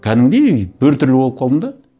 кәдімгідей біртүрлі болып қалдым да